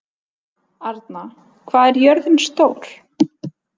Arna, hvað er jörðin stór?